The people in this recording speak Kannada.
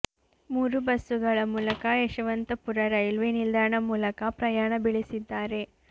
ಮೂರು ಬಸ್ಸುಗಳ ಮೂಲಕ ಯಶವಂತಪುರ ರೈಲ್ವೆ ನಿಲ್ದಾಣ ಮೂಲಕ ಪ್ರಯಾಣ ಬೆಳೆಸಿದ್ದಾರೆ